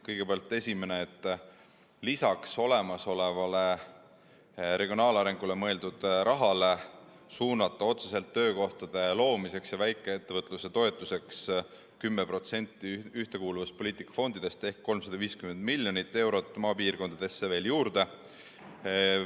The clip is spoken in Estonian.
Kõigepealt esimene: lisaks olemasolevale regionaalarenguks mõeldud rahale suunatakse maapiirkondadesse juurde töökohtade loomiseks ja väikeettevõtluse toetamiseks ühtekuuluvuspoliitika fondidest 10% ehk 350 miljonit eurot.